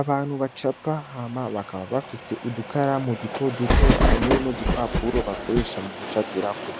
Abantu bacapa hama bakaba bafise udukaramu dutoduto hamwe n'udupapuro bakoresha mu gucapirako